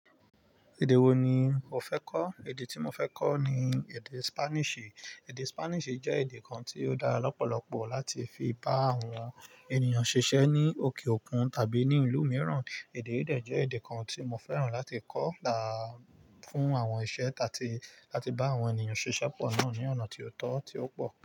Èdè wo ni o fẹ́ kọ́? Èdè tí mo fẹ́ kọ́ ni èdè Spanish. Èdè Spanish jẹ́ èdè kan tí ó dára lọ́pọ̀lọpọ̀ láti fi bá àwọn ènìyàn ṣiṣẹ́ ní òkè òkun tàbí ní ìlú mìíràn. Èdè yìí jẹ́ èdè kan tí mo fẹ́ràn láti kọ́ lá fún àwọn iṣẹ́ ta tí láti bá àwọn ènìyàn ṣiṣẹ́ pọ̀ náà ní ọ̀nà tí ó tọ́, tí ó pọ̀.